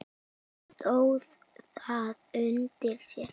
Stóð það undir sér?